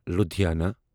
Ludhiana